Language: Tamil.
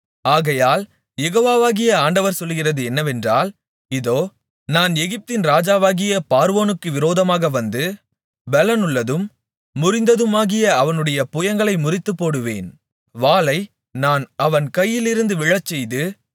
ஆகையால் யெகோவாகிய ஆண்டவர் சொல்லுகிறது என்னவென்றால் இதோ நான் எகிப்தின் ராஜாவாகிய பார்வோனுக்கு விரோதமாக வந்து பெலனுள்ளதும் முறிந்ததுமாகிய அவனுடைய புயங்களை முறித்துப்போடுவேன் வாளை நான் அவன் கையிலிருந்து விழச்செய்து